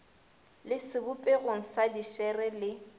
le sebopegong sa dišere le